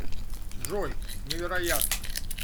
джой невероятно